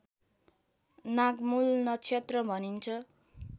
नागमूल नक्षत्र भनिन्छ